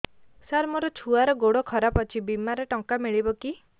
ସାର ମୋର ଛୁଆର ଗୋଡ ଖରାପ ଅଛି ବିମାରେ ଟଙ୍କା ମିଳିବ କି